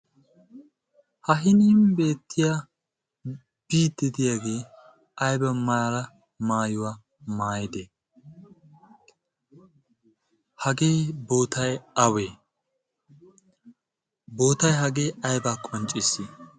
ha hinin beettiya biidtidiyaagee aiba maara maayuwaa maayidee hagee bootay awee bootai hagee ayba qoncciissi?